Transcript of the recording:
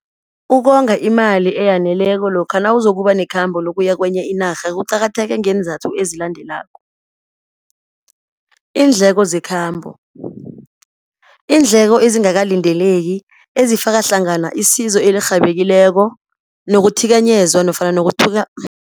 Ukonga imali eyaneleko lokha nawuzokuba nekhamba, lokuya kwenye inarha kuqakatheke ngeenzathu ezilandelako, iindleko zekhabo, iindleko esingakalindeleki ezifaka hlangana isizo elirhabileko, nokuthikanyezwa nofana